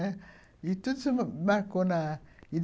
E tudo se marcou na